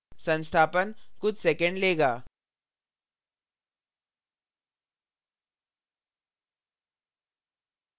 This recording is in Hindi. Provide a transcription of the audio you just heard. संस्थापन कुछ सेकैंड लेगा